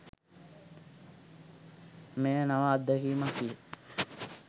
මෙය නව අත්දැකීමක් විය.